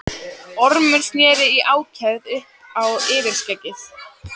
Ormur sneri í ákefð upp á yfirskeggið.